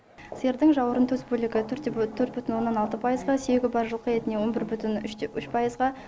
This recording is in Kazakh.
сиырдың жауырын төс бөлігі төрт бүтін оннан алты пайызға сүйегі бар жылқы етіне он бір бүтін үш пайызға